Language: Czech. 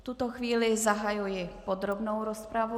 V tuto chvíli zahajuji podrobnou rozpravu.